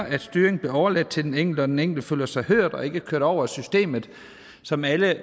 at styringen bliver overladt til den enkelte og at den enkelte føler sig hørt og ikke kørt over af systemet som alle